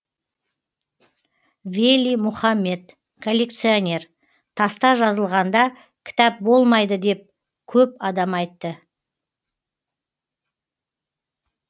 вели мухаммед коллекционер таста жазылғанда кітап болмайды деп көп адам айтты